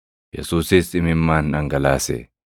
Yesuusis imimmaan dhangalaase.